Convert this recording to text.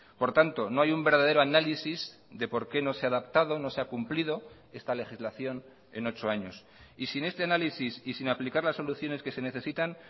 por tanto no hay un verdadero análisis de por qué no se ha adaptado no se ha cumplido esta legislación en ocho años y sin este análisis y sin aplicar las soluciones que se necesitan